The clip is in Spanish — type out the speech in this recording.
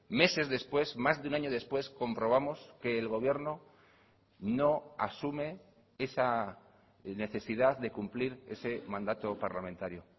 meses después más de un año después comprobamos que el gobierno no asume esa necesidad de cumplir ese mandato parlamentario